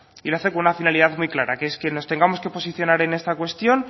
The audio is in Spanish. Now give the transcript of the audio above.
y lo hace con una finalidad muy clara que es que nos tengamos que posicionar en esta cuestión